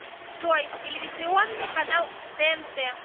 джой телевизионный канал тнт